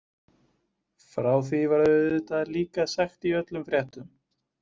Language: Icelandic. Frá því var auðvitað líka sagt í öllum fréttum.